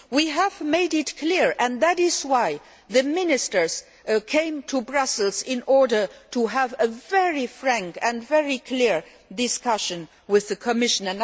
We have made this clear, and that is why the Ministers came to Brussels to have a very frank and very clear discussion with the Commission.